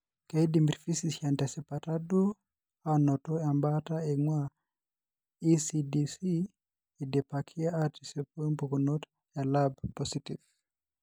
Keidim irphysicians tesipata duo aanoto embaata eing'ua eCDC eidipaki aatisipu impukunot elab positif.